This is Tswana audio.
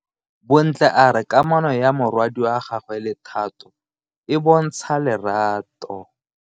Bontle a re kamano ya morwadi wa gagwe le Thato e bontsha lerato.